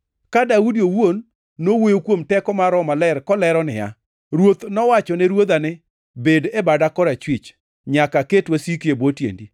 Ka Daudi owuon nowuoyo kuom teko mar Roho Maler kolero niya: “ ‘Ruoth nowachone Ruodha ni, “Bed e bada korachwich, nyaka aket wasiki e bwo tiendi.” ’+ 12:36 \+xt Zab 110:1\+xt*